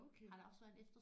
Okay